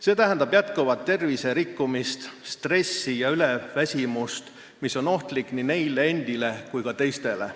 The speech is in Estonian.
See tähendab tervise rikkumist, stressi ja üleväsimust, mis on ohtlik nii neile endile kui ka teistele.